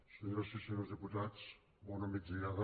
senyores i senyors diputats bona migdiada